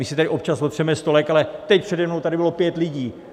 My si tady občas otřeme stolek, ale teď přede mnou tady bylo pět lidí.